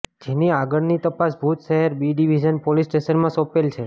જેની આગળની તપાસ ભુજ શહેર બી ડીવીઝન પોલીસ સ્ટેશન માં સોપેલ છે